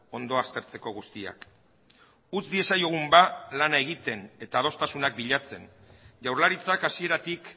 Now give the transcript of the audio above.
ondo aztertzeko guztiak utz diezaiogun ba lana egiten eta adostasunak bilatzen jaurlaritzak hasieratik